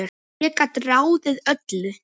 Ég gat ráðið öllu.